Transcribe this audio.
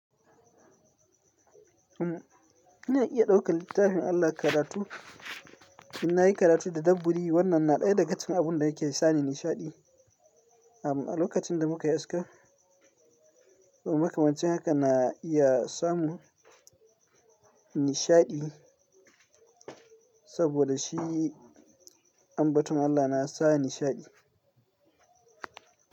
Umm, ina iya ɗaukar littafin Allah karatu, in na yi karatu tadabburi wannan na ɗaya daga cikin abun da yake sani nishaɗi. Amm a lokacin da muka yaska, makamancin haka na iya samu nishaɗi, saboda shi ambaton Allah na sa nishaɗi.